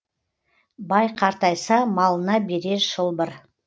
бай қартайса малына берер шылбыр